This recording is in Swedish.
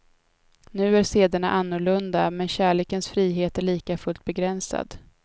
Nu är sederna annorlunda, men kärlekens frihet är likafullt begränsad.